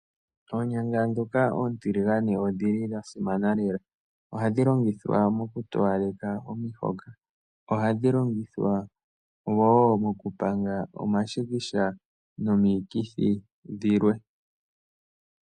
Oonyanga dhoka oontiligane odhili dha simana lela. Ohadhi longithwa oku towalekitha omihoka. Ohashi longitwa wo moku panga omashikisha nomikithi dhilwe.